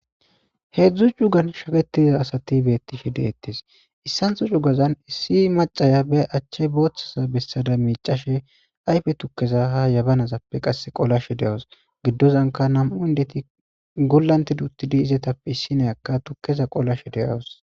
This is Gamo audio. Heedzdzu jugan shaketiza asati beettishe deettes issantho jugazan issi macaya be achche booththaza bessada miicashe ayfe tukkeza ha yabanazappe qasse qolashe de'awos giddozanka nam'u indeti gollante duttidi izetappe issineyakka tukkeza qolashe de'awos.